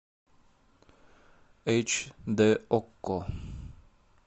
эйч дэ окко